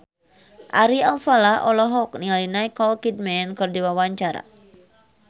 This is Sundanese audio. Ari Alfalah olohok ningali Nicole Kidman keur diwawancara